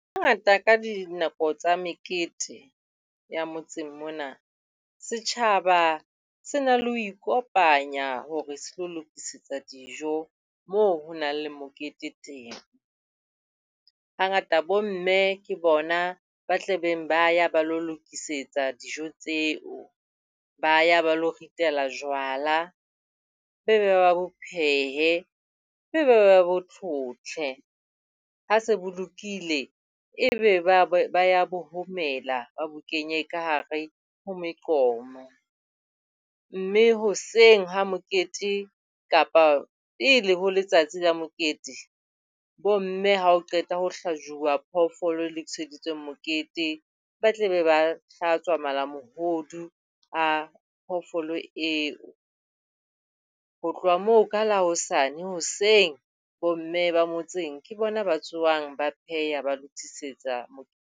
Hangata ka dinako tsa mekete ya motseng mona, setjhaba se na le ho ikopanya hore se tlo lokisetsa dijo moo ho nang le mokete teng. Hangata bo mme ke bona ba tle beng ba ya ba lo lokisetsa dijo tseo. Ba ya ba lo ritela jwala. ba bo phehe ba bo tlhotlhe. Ha se bo lokile ebe ba be ba ya bo homela. Ba bo kenye ka hare ho meqomo. Mme hoseng ha mokete kapa pele ho letsatsi la mokete, bo mme ha ho qetwa hlajuwa phoofolo e lokiseditsweng mokete, ba tle be ba hlatswa malamohodu a phoofolo eo. Ho tloha moo ka la hosane hoseng bo mme ba motseng ke bona ba tsohang ba pheha, ba lokisetsa .